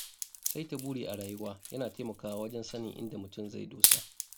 Saita burin rayuwa yana taimakawa wajen sanin inda mutum zai dosa.